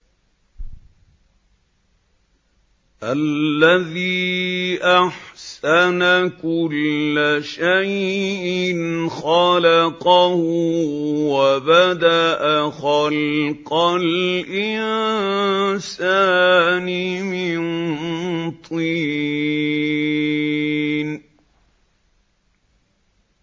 الَّذِي أَحْسَنَ كُلَّ شَيْءٍ خَلَقَهُ ۖ وَبَدَأَ خَلْقَ الْإِنسَانِ مِن طِينٍ